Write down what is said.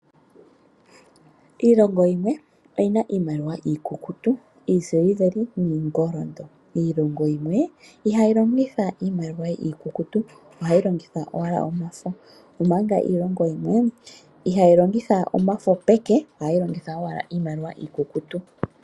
Iilongo yimwe oyi na iimaliwa iikukutu, iisiliveli niingoli. Iilongo yimwe ihayi longitha iimaliwa iikukutu. Ohayi longitha owala omafo, omanga iilongo yimwe ihayi longitha omafo peke ohayi longitha owala iimaliwa iikukutu.